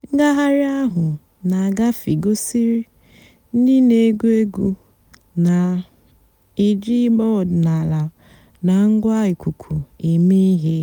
ǹgàghàrị́ àhú́ nà-àgàfé gosìrí ndị́ nà-ègwú ègwú nà-èjí ị̀gbà ọ̀dị́náàlà nà ǹgwá íkúkú èmée íhé.